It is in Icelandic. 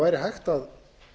væri hægt að